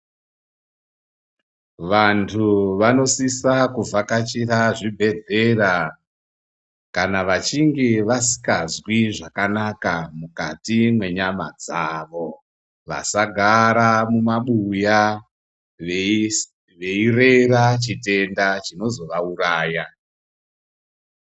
Vandu vanosisa kuvhakachira zvibhedhlera kana vachinge vasingazwi zvakanaka mukati mwenyama dzavo vasagara mumabuya veirera chitenda chinozovauraya.